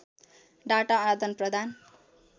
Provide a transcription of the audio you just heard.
data आदानप्रदान